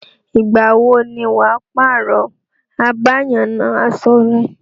Ìgbà wo ni wà á pààrọ̀ abáyanaṣọ rẹ.